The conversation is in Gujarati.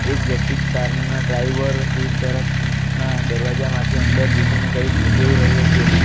એક વ્યક્તિ કાર ના ડ્રાઇવર સીટ તરફ ના દરવાજામાંથી અંદર જુકી ને કંઈક જોઈ રહ્યો છે.